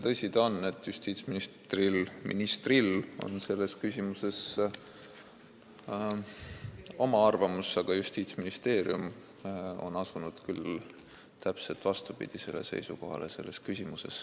Tõsi ta on, et justiitsministril on selles küsimuses oma arvamus, aga Justiitsministeerium on asunud selles küsimuses küll täpselt vastupidisele seisukohale.